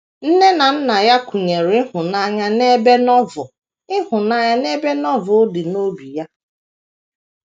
Nne na nna ya kụnyere ịhụnanya n’ebe Novel ịhụnanya n’ebe Novel dị n’obi ya.